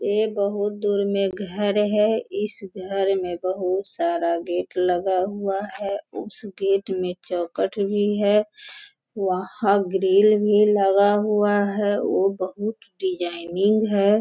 ये बहुत दूर में घर है इस घर में बहुत सारा गेट लगा हुआ है उस गेट में चौखट भी है वहाँ ग्रिल भी लगा हुआ है वो बहुत डिजाइनिंग है।